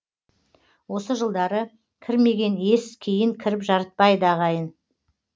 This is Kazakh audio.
осы жылдары кірмеген ес кейін кіріп жарытпайды ағайын